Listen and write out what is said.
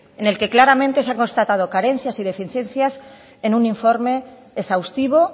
en el que claramente se han constatado carencias y deficiencias en un informe exhaustivo